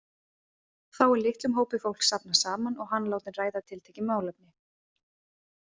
Þá er litlum hópi fólks safnað saman og hann látinn ræða tiltekið málefni.